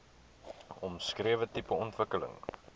omskrewe tipe ontwikkeling